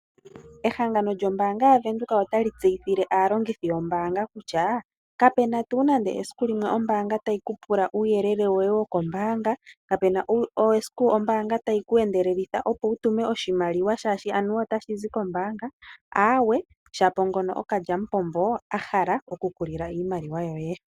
Ehangano lyombaanga yaVenduka otali tseyithile aalongithi yombaanga kutya kapena tuu nande esiku limwe ombaanga tayi kupula uuyelele woye wokombaanga, kapena esiku ombaanga tayi ku endelelitha opo wu tume oshimaliwa shashi anuwa otashi zi kombaanga aawe shapo ngono okalyamupombo a hala oku ku lila iimaliwa yoye.